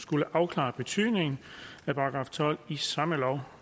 skulle afklare betydningen af § tolv i samme lov